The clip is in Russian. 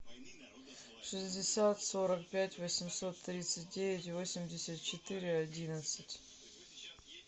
шестьдесят сорок пять восемьсот тридцать девять восемьдесят четыре одиннадцать